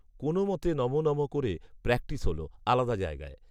কোনও মতে নমঃ নমঃ করে প্র্যাকটিস হল, আলাদা জায়গায়